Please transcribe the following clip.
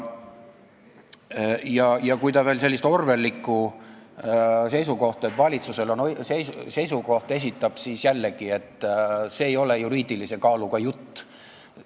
Kui ta esitab veel sellise orwelliliku seisukoha, et valitsusel on seisukoht, siis jällegi, see ei ole juriidilise kaaluga jutt.